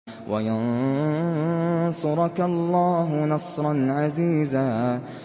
وَيَنصُرَكَ اللَّهُ نَصْرًا عَزِيزًا